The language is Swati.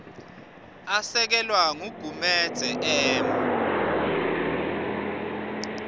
asekelwa ngugumedze m